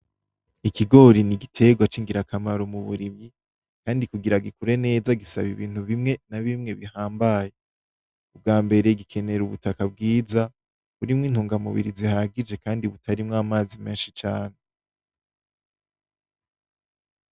Ikigori n'igiterwa c'ingirakamaro mu burimyi kandi kugira gikure neza gisaba ibintu bimwe na bimwe bihambaye. Ubwa mbere gikenera ubutaka bwiza burimwo intungamubiri zihagije kandi butarimwo amazi menshi cane.